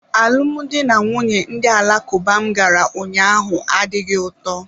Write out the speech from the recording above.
Alụmdi na nwunye ndị Alakuba m gara ụnyaahụ adịghị ụtọ.